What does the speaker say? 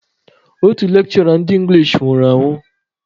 Otu lekshụra ndị engilish nwụrụ ụnyaahụ.